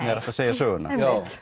segja söguna